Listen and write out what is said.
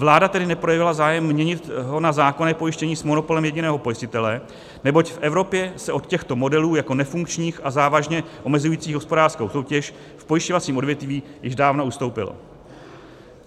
Vláda tedy neprojevila zájem měnit ho na zákonné pojištění s monopolem jediného pojistitele, neboť v Evropě se od těchto modelů jako nefunkčních a závažně omezujících hospodářskou soutěž v pojišťovacím odvětví již dávno ustoupilo.